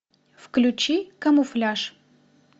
включи камуфляж